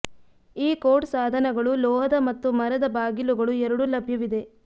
ಈ ಕೋಡ್ ಸಾಧನಗಳು ಲೋಹದ ಮತ್ತು ಮರದ ಬಾಗಿಲುಗಳು ಎರಡೂ ಲಭ್ಯವಿದೆ